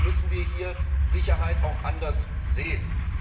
Deswegen müssen wir hier Sicherheit auch anders sehen.